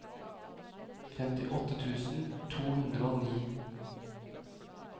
femtiåtte tusen to hundre og ni